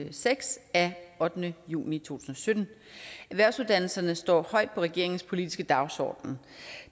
og seks af ottende juni to tusind og sytten erhvervsuddannelserne står højt på regeringens politiske dagsorden